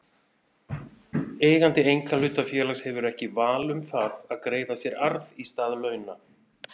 Eigandi einkahlutafélags hefur ekki val um það að greiða sér arð í stað launa.